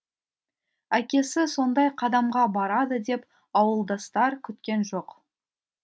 әкесі сондай қадамға барады деп ауылдастар күткен жоқ